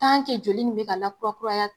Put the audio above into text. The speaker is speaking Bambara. Tan ke joli in be ka lakura kuraya